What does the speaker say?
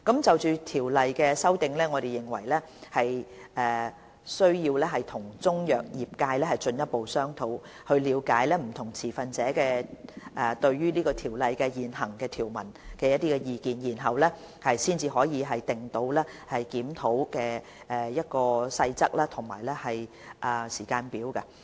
就《條例》作出的修訂，我們認為需要和中藥業界進一步商討，以了解不同持份者對《條例》現行條文的意見，才可訂定檢討《條例》的細節和時間表。